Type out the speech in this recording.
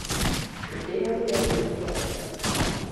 Gĩtĩo kwĩ andũ nĩ gĩabata